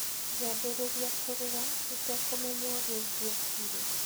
Ngĩambĩrĩria kũrĩra, itekũmenya ũrĩa ingĩekire.